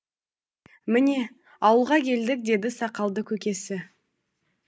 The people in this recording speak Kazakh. міне ауылға келдік деді сақалды көкесі